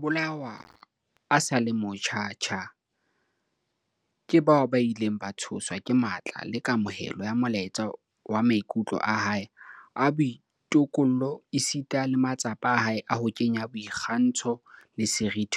O ile a bolawa a sa le motjha tjha ke bao ba ileng ba tshoswa ke matla le kamohelo ya molaetsa wa maikutlo a hae a boitokollo esita le matsapa a hae a ho kenya boikgantsho le seriti